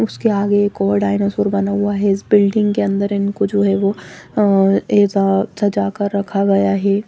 उसके आगे एक और डायनासोर बना हुआ है इस बिल्डिंग के अंदर इनको जो है वो अं ऐसा सजा कर रखा गया है।